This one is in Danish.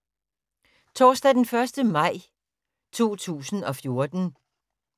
Torsdag d. 1. maj 2014